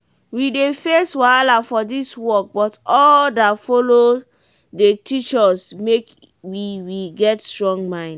we dey face wahala for dis work but all dat follow dey teach us make we we get strong mind.